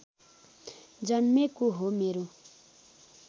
जन्मेको हो मेरो